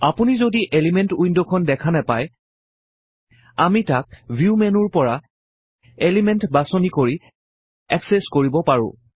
আপুনি যদি এলিমেন্ট উইন্ডখন দেখা নেপায় আমি তাক ভিউ মেনুৰ পৰা এলিমেন্ট বাচনি কৰি এক্সেচ্ কৰিব পাৰোঁ